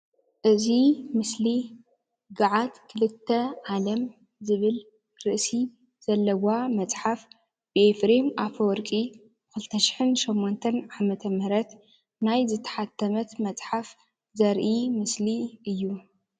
እዚ ምስሊ ገዓት 2 ዓለም ዝብል ርእሲ ዘለዋ መፅሓፍ ብኤፍሬም ኣፈወርቂ 2008 ዓ/ም ናይ ዝተሓተመት መፅሓፍ ዘርኢ ምስሊ እዩ፡፡